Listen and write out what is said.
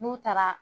N'u taara